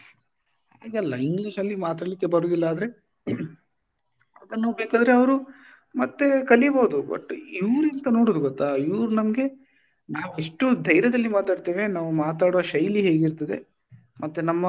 ಹಾಗೆ ಅಲ್ಲ English ಅಲ್ಲಿ ಮಾತಾಡ್ಲಿಕ್ಕೆ ಬರುದಿಲ್ಲ ಅಂದ್ರೆ ಅದನ್ನು ಬೇಕಿದ್ರೆ ಅವ್ರು ಮತ್ತೇ ಕಲೀಬೋದು ಒಟ್ಟು ಇವ್ರಿಗೆ ಎಂತ ನೋಡುದ್ ಗೊತ್ತಾ ಇವರು ನಮಗೆ ನಾವು ಎಷ್ಟು ಧೈರ್ಯದಲ್ಲಿ ಮಾತಾಡ್ತೇವೆ ನಾವು ಮಾತಾಡುವ ಶೈಲಿ ಹೇಗಿರ್ತದೆ ಮತ್ತೆ ನಮ್ಮ